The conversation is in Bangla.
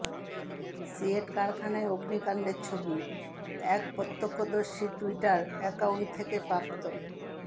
সিয়েট কারখানায় অগ্নিকাণ্ডের ছবি এক প্রত্যক্ষদর্শীর টুইটার অ্যাকাউন্ট থেকে প্রাপ্ত